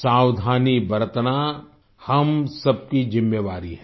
सावधानी बरतना हम सब की जिम्मेवारी है